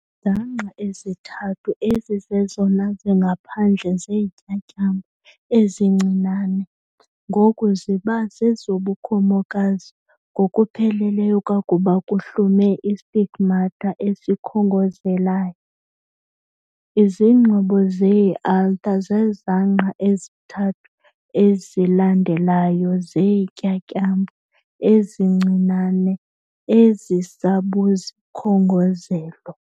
Izangqa ezithathu ezizezona zingaphandle zeentyatyambo ezincinane ngoku ziba zezobukhomokazi ngokupheleleyo kwakuba kuhlume istigmata esikhongozelayo. Izingxobo zee-anther zezangqa ezithathu ezilandelayo zeentyatyambo ezincinane ezisabuzikhongozelo.